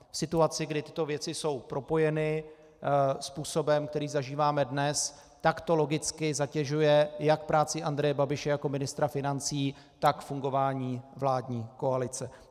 V situaci, kdy tyto věci jsou propojeny způsobem, který zažíváme dnes, tak to logicky zatěžuje jak práci Andreje Babiše jako ministra financí, tak fungování vládní koalice.